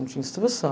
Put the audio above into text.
Não tinha instrução.